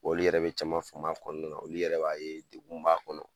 Olu yɛrɛ be caman faam'a kɔɔna na, olu yɛrɛ b'a ye degun b'a kɔnɔ.